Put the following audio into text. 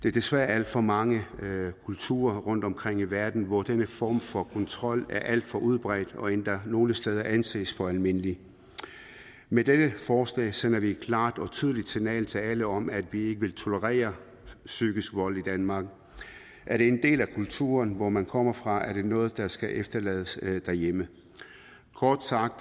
er desværre alt for mange kulturer rundtomkring i verden hvor denne form for kontrol er alt for udbredt og endda nogle steder anses for almindelig med dette forslag sender vi et klart og tydeligt signal til alle om at vi ikke vil tolerere psykisk vold i danmark er det en del af kulturen hvor man kommer fra er det noget der skal efterlades derhjemme kort sagt